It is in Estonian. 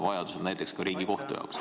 Vajaduse korral näiteks ka Riigikohtu jaoks.